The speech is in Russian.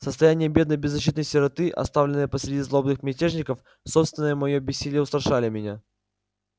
состояние бедной беззащитной сироты оставленной посреди злобных мятежников собственное моё бессилие устрашали меня